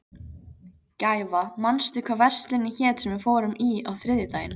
Gæfa, manstu hvað verslunin hét sem við fórum í á þriðjudaginn?